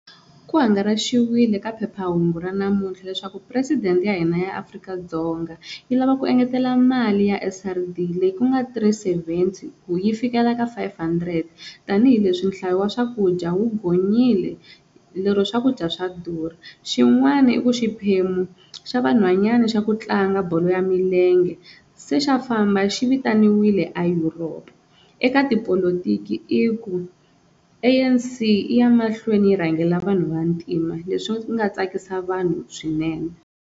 Ku hangaraxiwile ka phephahungu ra namuntlha leswaku presidente ya hina ya Afrika-Dzonga yi lava ku engetela mali ya S_R_D leyi ku nga three seventy ku yi fikela ka five hundred tanihileswi nhlayo wa swakudya wu gonyile lero swakudya swa durha xin'wana i ku xiphemu xa vanhwanyani xa ku tlanga bolo ya milenge se xa famba xi vitanile a Europe, eka tipolotiki i ku A_N_C yi ya mahlweni yi rhangela vanhu va ntima leswi nga tsakisa vanhu swinene.